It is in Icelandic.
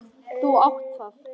Þú átt það.